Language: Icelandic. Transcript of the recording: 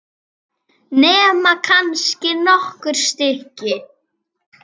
Nema kannski nokkur stykki.